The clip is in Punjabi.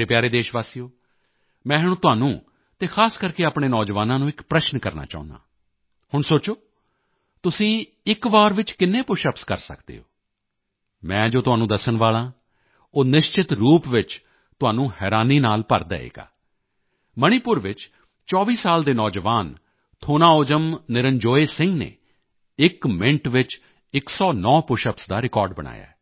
ਮੇਰੇ ਪਿਆਰੇ ਦੇਸ਼ਵਾਸੀਓ ਮੈਂ ਹੁਣ ਤੁਹਾਨੂੰ ਅਤੇ ਖਾਸ ਕਰਕੇ ਆਪਣੇ ਨੌਜਵਾਨਾਂ ਨੂੰ ਇੱਕ ਪ੍ਰਸ਼ਨ ਕਰਨਾ ਚਾਹੁੰਦਾ ਹਾਂ ਹੁਣ ਸੋਚੋ ਤੁਸੀਂ ਇੱਕ ਵਾਰ ਵਿੱਚ ਕਿੰਨੇ ਪੁਸ਼ਅਪਸ ਕਰ ਸਕਦੇ ਹੋ ਮੈਂ ਜੋ ਤੁਹਾਨੂੰ ਦੱਸਣ ਵਾਲਾ ਹਾਂ ਉਹ ਨਿਸ਼ਚਿਤ ਰੂਪ ਵਿੱਚ ਤੁਹਾਨੂੰ ਹੈਰਾਨੀ ਨਾਲ ਭਰ ਦੇਵੇਗਾ ਮਣੀਪੁਰ ਵਿੱਚ 24 ਸਾਲ ਦੇ ਨੌਜਵਾਨ ਥੋਨਾਓਜਮ ਨਿਰੰਜੋਏ ਸਿੰਘ ਨੇ ਇੱਕ ਮਿਨਟ ਵਿੱਚ 109 ਪੁਸ਼ਅਪਸ ਦਾ ਰਿਕਾਰਡ ਬਣਾਇਆ ਹੈ